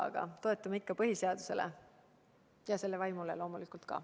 Aga me toetume ikka põhiseadusele ja selle vaimule loomulikult ka.